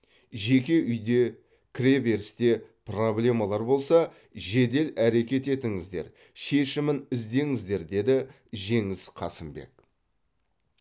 жеке үйде кіреберісте проблемалар болса жедел әрекет етіңіздер шешімін іздеңіздер деді жеңіс қасымбек